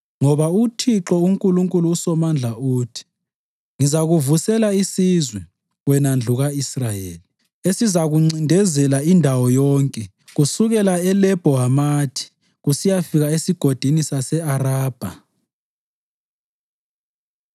Ngoba uThixo uNkulunkulu uSomandla uthi, “Ngizakuvusela isizwe, wena ndlu ka-Israyeli, esizakuncindezela indawo yonke kusukela eLebho Hamathi kusiyafika esigodini sase-Arabha.”